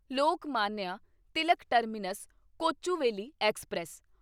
Lokmanya Tilak terminus Kochuveli express